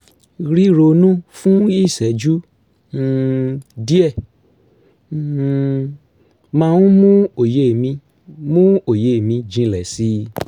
ríronú fún ìṣẹ́jú um díẹ̀ um máa ń mú òye mi mú òye mi jinlẹ̀ si